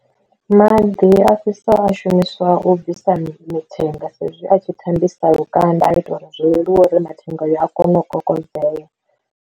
Maḓi a fhisa a shumiswa u bvisa mitenga sa izwi a tshi thembisa lukanda a ita uri zwo leluwa uri mathenga ayo a kone u kokodzeya.